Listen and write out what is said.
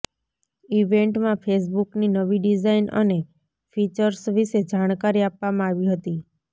ઈવેન્ટમાં ફેસબુકની નવી ડિઝાઈન અને ફીચર્સ વિશે જાણકારી આપવામાં આવી હતી